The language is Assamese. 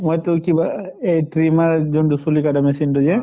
মই টো কিবা অহ এ trimmer যোন টো চুলি কাটা machine তো যে